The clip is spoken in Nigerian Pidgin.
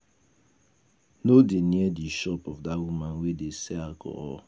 No dey near the shop of dat woman wey dey sell alcohol